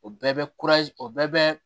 O bɛɛ bɛ o bɛɛ bɛ